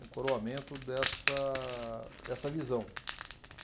um coroamento dessa dessa visão.